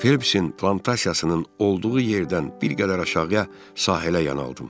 Felpsin plantasiyasının olduğu yerdən bir qədər aşağıya sahilə yanaldım.